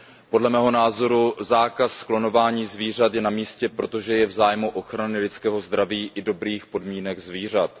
Podle mého názoru zákaz klonování zvířat je namístě, protože je v zájmu ochrany lidského zdraví i dobrých podmínek zvířat.